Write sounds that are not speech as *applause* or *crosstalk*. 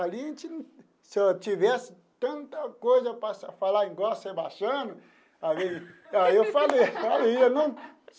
Ali, se eu tivesse tanta coisa para falar, igual o Sebastiano, aí *laughs* aí eu falei faria não.